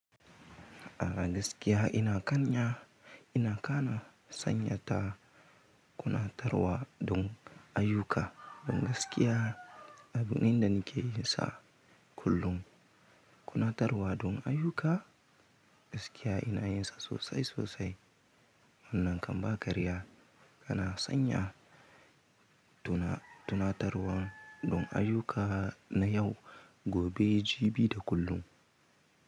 A gaskiya ina kan ya, ina kana sanya ta kuna tarwa dun ayuka, dun gaskiya abin ina nake yi sa kullum. Kuna tarwa dun ayuka gaskiya ina yin sa sosai sosai. Wannan kamba karya kana sanya tuna, tuna tarwan dun ayuka na yau, gobe, jibi da kullum.